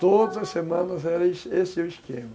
Todas as semanas era esse esse o esquema.